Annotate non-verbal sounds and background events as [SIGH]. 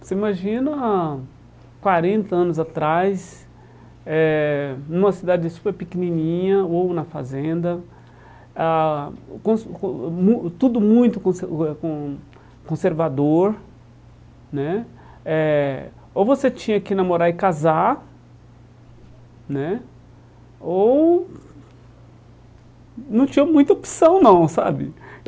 Você imagina há quarenta anos atrás eh, numa cidade super pequenininha, ou na fazenda, ah con [UNINTELLIGIBLE] tudo muito [UNINTELLIGIBLE] con conservador né eh, ou você tinha que namorar e casar né, ou não tinha muita opção não, sabe?